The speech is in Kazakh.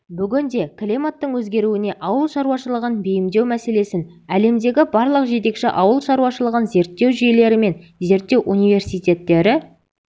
бүгінде климаттың өзгеруіне ауыл шаруашылығын бейімдеу мәселесін әлемдегі барлық жетекші ауыл шаруашылығын зерттеу жүйелері мен зерттеу университеттері